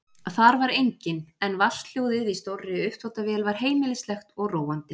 Þar var enginn en vatnshljóðið í stórri uppþvottavél var heimilislegt og róandi.